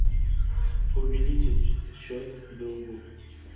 увеличить счет другу